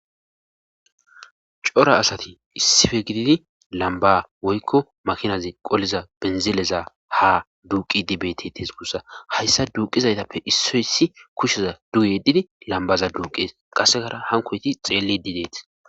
Cora asati issife gididi lamba woykko makinazi qolliza benzileza ha duuqi dibetetes gussa hayssa duuqizaytappe issoyssi kushsheza duuyedidi lambaza duuqees qassekara hankoyti xeellidi deeti